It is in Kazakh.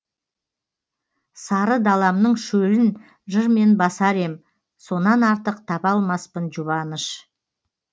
сары даламның шөлін жырмен басар ем сонан артық таба алмаспын жұбаныш